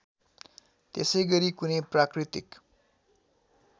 त्यसैगरी कुनै प्राकृतिक